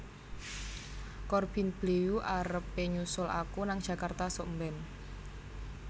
Corbin Bleu arep e nyusul aku nang Jakarta suk mben